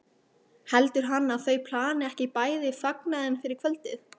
heldur hann að þau plani ekki bæði fagnaðinn fyrir kvöldið?